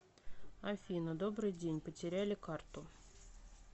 афина добрый день потеряли карту